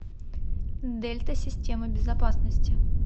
дельта системы безопасности